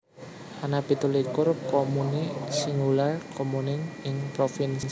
Ana pitu likur comuni singular comune ing provinsi iki